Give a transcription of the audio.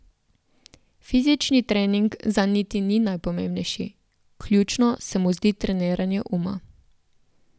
Fizični trening zanj niti ni najpomembnejši, ključno se mu zdi treniranje uma.